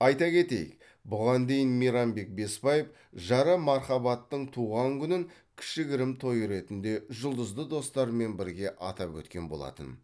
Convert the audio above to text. айта кетейік бұған дейін мейрамбек бесбаев жары мархабаттың туған күнін кішігірім той ретінде жұлдызды достарымен бірге атап өткен болатын